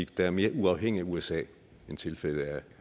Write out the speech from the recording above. der er mere uafhængig af usa end tilfældet er